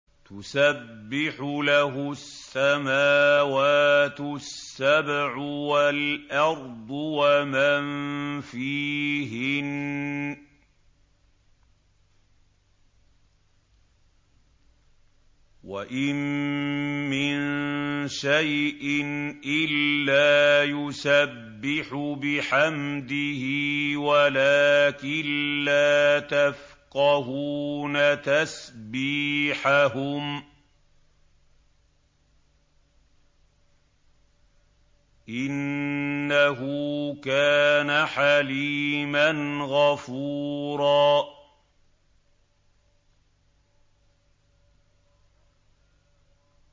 تُسَبِّحُ لَهُ السَّمَاوَاتُ السَّبْعُ وَالْأَرْضُ وَمَن فِيهِنَّ ۚ وَإِن مِّن شَيْءٍ إِلَّا يُسَبِّحُ بِحَمْدِهِ وَلَٰكِن لَّا تَفْقَهُونَ تَسْبِيحَهُمْ ۗ إِنَّهُ كَانَ حَلِيمًا غَفُورًا